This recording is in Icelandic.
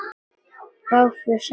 Gáfuð, sagði Heiða.